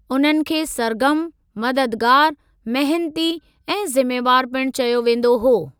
उन्हनि खे सर्गर्मु , मददगार, मेहनती ऐं ज़िम्मेवारु पिणु चयो वेंदो हो।